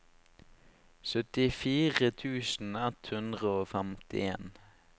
syttifire tusen ett hundre og femtien